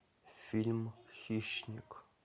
фильм хищник